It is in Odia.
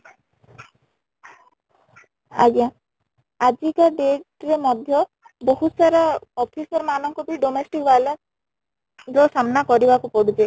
ଆଂଜ୍ଞା , ଆଜିକା date ରେ ମଧ୍ୟ ବହୁତ ସାରା officer ମାନ ଙ୍କୁ ବି domestic violence ର ସାମ୍ନା କରି ବାକୁ ପଡୁଛି